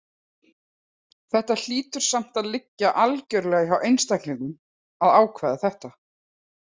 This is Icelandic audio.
Þetta hlýtur samt að liggja algjörlega hjá einstaklingnum að ákveða þetta.